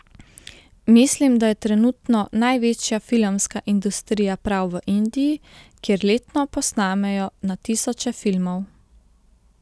Mislim, da je trenutno največja filmska industrija prav v Indiji, kjer letno posnamejo na tisoče filmov.